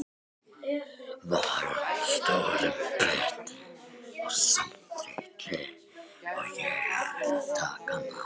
Var hún stórum betri, og samþykkti ég að taka hana.